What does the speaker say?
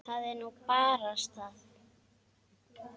Það er nú barasta það.